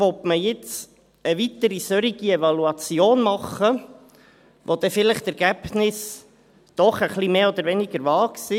Will man jetzt eine weitere solche Evaluation machen, wo dann vielleicht die Ergebnisse doch etwas mehr oder weniger vage sind?